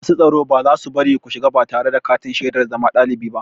Masu tsaro ba za su bari ku shiga ba tare da katin shaidar zama ɗalibi ba.